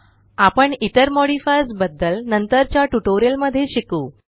आपण इतर मॉडिफायर्स बद्दल नंतरच्या ट्यूटोरियल मध्ये शिकू